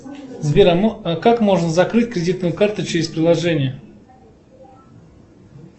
сбер а как можно закрыть кредитную карту через приложение